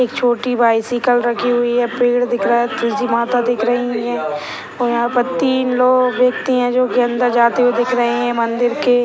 एक छोटी बाइसाइकल रखी हुई है पेड़ दिख रही है दिख रही है और यहां पर तीन लोग दिखती है जो की अंदर जाते हुए दिख रहे हैं मंदिर के।